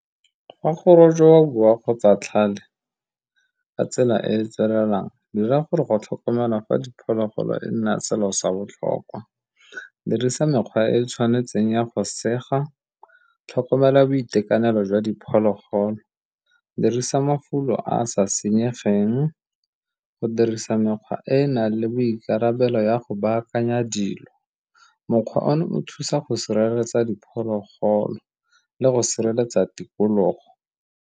ka tsela e e tswelelang, dira gore go tlhokomelwa ga diphologolo e nna selo sa botlhokwa, dirisa mekgwa e e tshwanetseng ya go sega, tlhokomela boitekanelo jwa diphologolo dirisa mafulo a sa senyegeng go dirisa mekgwa e e nang le boikarabelo ya go baakanya dilo. Mokgwa ono o thusa go sireletsa diphologolo le go sireletsa tikologo.